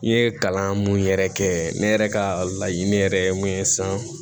N ye kalan mun yɛrɛ kɛ ne yɛrɛ ka laɲini yɛrɛ ye mun ye sisan